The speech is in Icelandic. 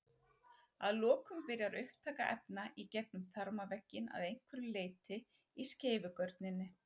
Að lokum byrjar upptaka efna í gegnum þarmavegginn að einhverju leyti í skeifugörninni.